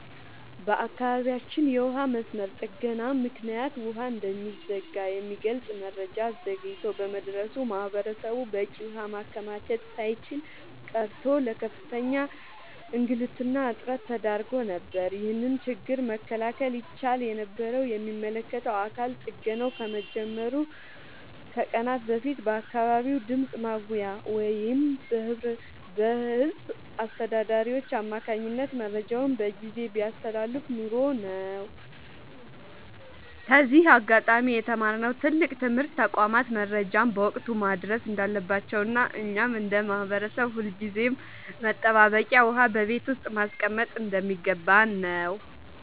በአካባቢያችን የውሃ መስመር ጥገና ምክንያት ውሃ እንደሚዘጋ የሚገልጽ መረጃ ዘግይቶ በመድረሱ ማህበረሰቡ በቂ ውሃ ማከማቸት ሳይችል ቀርቶ ለከፍተኛ እንግልትና እጥረት ተዳርጎ ነበር። ይህንን ችግር መከላከል ይቻል የነበረው የሚመለከተው አካል ጥገናው ከመጀመሩ ከቀናት በፊት በአካባቢው ድምፅ ማጉያ ወይም በህዝብ አስተዳዳሪዎች አማካኝነት መረጃውን በጊዜ ቢያስተላልፍ ኖሮ ነው። ከዚህ አጋጣሚ የተማርነው ትልቅ ትምህርት ተቋማት መረጃን በወቅቱ ማድረስ እንዳለባቸውና እኛም እንደ ማህበረሰብ ሁልጊዜም መጠባበቂያ ውሃ በቤት ውስጥ ማስቀመጥ እንደሚገባን ነው።